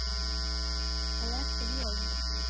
og eftir jól.